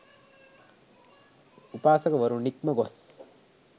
උපාසකවරු නික්ම ගොස්